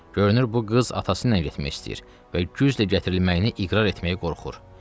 Görünür bu qız atası ilə getmək istəyir və güclə gətirilməyini iqrar etməyə qorxur.